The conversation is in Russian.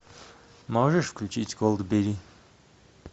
можешь включить голдберги